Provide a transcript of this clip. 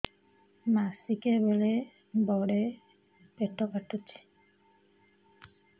ମାସିକିଆ ବେଳେ ବଡେ ପେଟ କାଟୁଚି